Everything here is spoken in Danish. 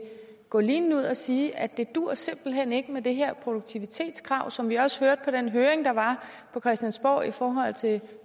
gå linen ud og sige at det simpelt hen ikke duer med det her produktivitetskrav som vi også hørte på den høring der var på christiansborg i forhold til